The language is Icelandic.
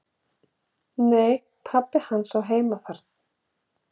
"""Nei, pabbi hans á heima þar."""